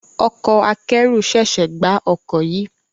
Ọkọ akẹ́rù ṣẹ̀ṣẹ̀ gbá ọkọ̀ yìí